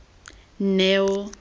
neo